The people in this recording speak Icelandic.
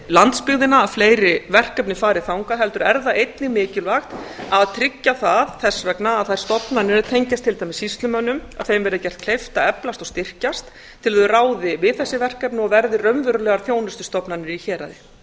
landsbyggðina að fleiri verkefni farið þangað heldur er það einnig mikilvægt að tryggja það þess vegna að þeim stofnunum er tengjast til dæmis sýslumönnum verði gert kleift að eflast og styrkjast til að þær ráði við þessi verkefni og verði raunverulegar þjónustustofnanir í héraði